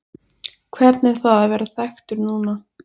Hvernig er það að vera þekktur núna?